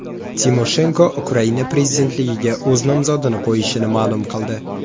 Timoshenko Ukraina prezidentligiga o‘z nomzodini qo‘yishini ma’lum qildi.